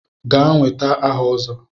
Gaa nweta aha Ozo!